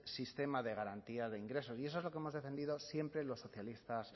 nuestro sistema de garantía de ingresos y eso es lo que hemos defendido siempre los socialistas